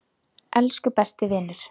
Elsku besti vinur.